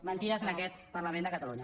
mentides en aquest parlament de catalunya